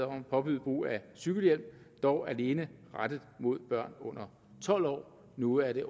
om at påbyde brug af cykelhjelm dog alene rettet mod børn under tolv år og nu er det